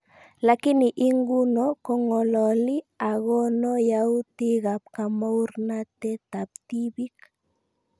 Lakini inguno kong'alali agono yautik ab kamauratanet ab tibiik